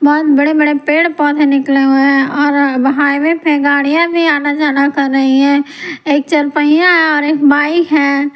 यहाँ बड़े-बड़े पेड़-पौधे निकले हुए हैंऔर हाईवे पे गाड़ियां भी आना जाना कर रही है एक चरपैया है और एक बाइक है।